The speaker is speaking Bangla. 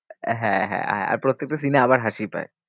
হ্যাঁ হ্যাঁ হ্যাঁ আর প্রত্যেকটা scene এ আবার হাসি পায়।